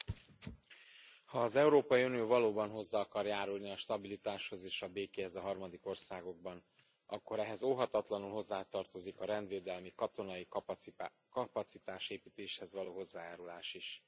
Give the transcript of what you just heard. Elnök Úr! Ha az Európai Unió valóban hozzá akar járulni a stabilitáshoz és a békéhez a harmadik országokban, akkor ehhez óhatatlanul hozzátartozik a rendvédelmi, katonai kapacitásépítéshez való hozzájárulás is.